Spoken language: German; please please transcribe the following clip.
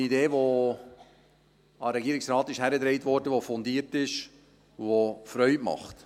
Dies ist eine Idee, die an den Regierungsrat herangetragen wurde, die fundiert ist, die Freude macht.